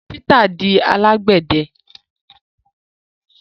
Peter di alagbẹdẹ